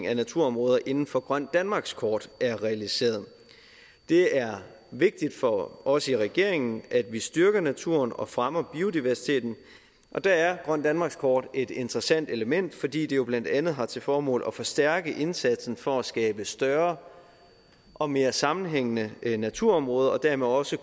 af naturområder inden for grønt danmarkskort er realiseret det er vigtigt for os i regeringen at vi styrker naturen og fremmer biodiversiteten og der er grønt danmarkskort et interessant element fordi det jo blandt andet har til formål at forstærke indsatsen for at skabe større og mere sammenhængende naturområder og dermed også